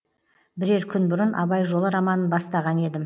бірер күн бұрын абай жолы романын бастаған едім